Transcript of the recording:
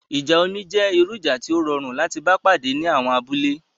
Ìjà omi jẹ́ irú ìjà tí ó rọrùn láti bá pàdé ní àwọn abúlé